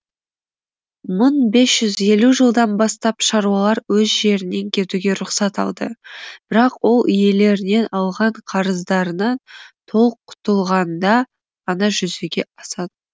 мың бес жүз елу жылдан бастап шаруалар өз жерінен кетуге рұқсат алды бірақ ол иелерінен алған қарыздарынан толық құтылғанда ғана жүзеге асатын